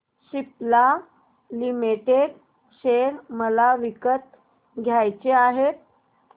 Cipla limited share मला विकत घ्यायचे आहेत